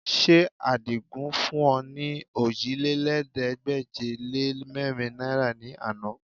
Ṣé Àdìgún fún ọ ní ọòjìlélẹ́ẹ̀ẹ́dégbèje-lé-mẹ́rin náìrà ní àná?